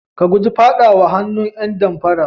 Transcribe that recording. Ka guji faɗawa hannun ƴan damfara.